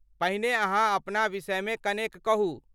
पहिने अहाँ अपना विषयमे कनेक कहू।